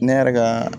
Ne yɛrɛ ka